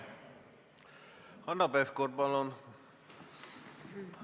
Hanno Pevkur, palun!